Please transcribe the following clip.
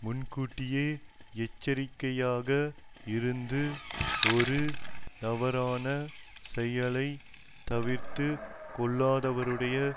முன்கூட்டியே எச்சரிக்கையாக இருந்து ஒரு தவறான செயலை தவிர்த்து கொள்ளாதவருடைய